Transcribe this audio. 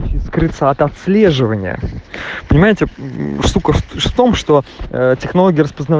скрыться от отслеживание понимаете что том что технологии